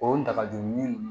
O dagadun